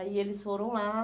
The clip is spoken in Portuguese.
Aí eles foram lá.